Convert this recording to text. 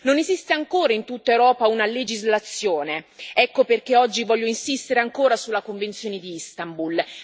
Non esiste ancora in tutta Europa una legislazione, ecco perché oggi voglio insistere ancora sulla convenzione di Istanbul.